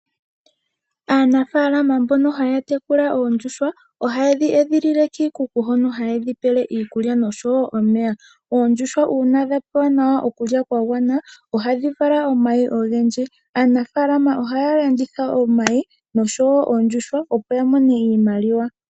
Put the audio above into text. Aanafaalama mbono haya tekula oondjuhwa ohaye dhi edhilile kiikuku hono haye dhipele iikulya nosho wo omeya. Oondjuhwa uuna dhapewa nawa okulya yagwana ohadhi vala omayi ogendji. Aanafaalama ohaya landitha omayi nosho wo oondjuhwa opo yamone iimaliwa.